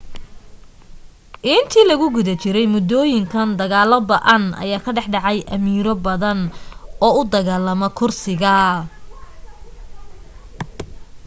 intii lagu guda jiray muddooyinkan dagaalo ba'an ayaa ka dhax dhacay amiiro badan oo u dagaalama kursiga